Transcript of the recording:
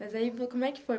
Mas aí, como é que foi?